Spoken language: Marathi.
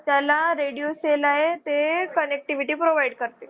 त्याला radio cell आहे ते connectivity provide करते